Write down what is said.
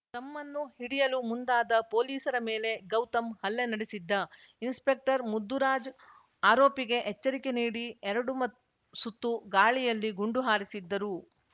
ತಮ್ಮನ್ನು ಹಿಡಿಯಲು ಮುಂದಾದ ಪೊಲೀಸರ ಮೇಲೆ ಗೌತಮ್‌ ಹಲ್ಲೆ ನಡೆಸಿದ್ದ ಇನ್ಸ್‌ಪೆಕ್ಟರ್‌ ಮುದ್ದುರಾಜ್‌ ಆರೋಪಿಗೆ ಎಚ್ಚರಿಕೆ ನೀಡಿ ಎರಡು ಮತ್ ಸುತ್ತು ಗಾಳಿಯಲ್ಲಿ ಗುಂಡು ಹಾರಿಸಿದ್ದರು